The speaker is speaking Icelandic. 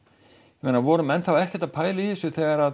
meina voru menn þá ekkert að pæla í þessu þegar